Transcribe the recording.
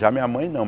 Já a minha mãe, não.